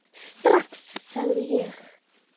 Strax, sagði ég.